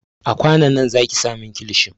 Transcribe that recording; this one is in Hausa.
A kwanon nan zaki sa min kilishin!